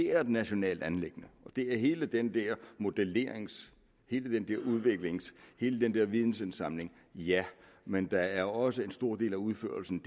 er et nationalt anliggende det er hele den der modellering hele den der udvikling hele den der vidensindsamling ja men der er også en stor del af udførelsen